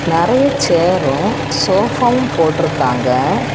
நெறைய சேரும் சோஃபாவும் போட்டு இருக்காங்க.